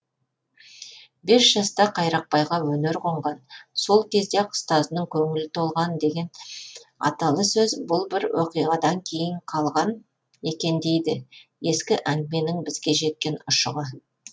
бес жаста қайрақбайға өнер қонған сол кезде ақ ұстазының көңілі толған деген аталы бұл бір оқиғадан қалған екен дейді ескі әңгіменің бізге жеткен ұшығы